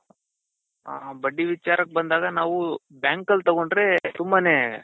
ಹ ಬಡ್ಡಿ ವಿಚಾರಕ್ ಬಂದಾಗ ನಾವು bank ಅಲ್ ತಗೊಂಡ್ರೆ ತುಂಬಾನೇ